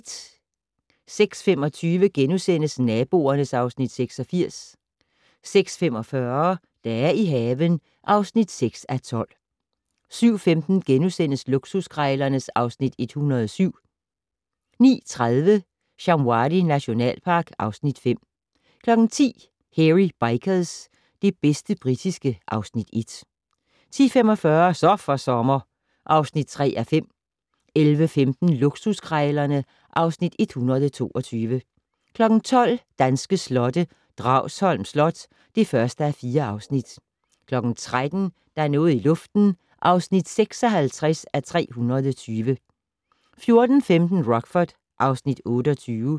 06:25: Naboerne (Afs. 86)* 06:45: Dage i haven (6:12) 07:15: Luksuskrejlerne (Afs. 107)* 09:30: Shamwari nationalpark (Afs. 5) 10:00: Hairy Bikers - det bedste britiske (Afs. 1) 10:45: Så for sommer (3:5) 11:15: Luksuskrejlerne (Afs. 122) 12:00: Danske slotte: Dragsholm Slot (1:4) 13:00: Der er noget i luften (56:320) 14:15: Rockford (Afs. 28)